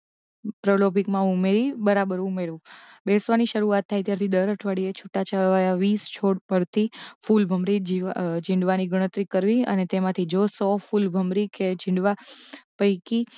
દ્રવલોભિતમાં ઉમેરી બરાબર ઉમેરવું બેસવાની શરુઆત થાય ત્યારથી દર અઠવાડિયે છૂટાંછવાયાં વીસ છોડ પરથી ફૂલ ભમરી જીવા અ છીંડવાની શરુઆત કરવી અને તેમાંથી જો સો ફૂલભમરી કે છીંડવા પૈકી